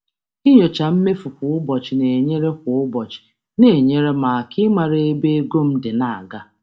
Ịnyocha mmefu kwa ụbọchị na-enyere um m aka ịmara ebe ego m dị dị um na-aga.